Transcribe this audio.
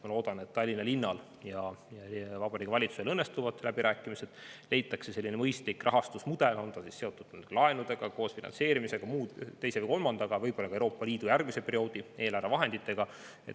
Ma loodan, et Tallinna linnal ja Vabariigi Valitsusel õnnestuvad läbirääkimised ja leitakse mõistlik rahastusmudel, on see siis seotud laenudega, kaasfinantseerimisega, teise või kolmanda, võib-olla ka Euroopa Liidu järgmise perioodi eelarvevahenditega.